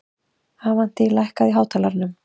Avantí, lækkaðu í hátalaranum.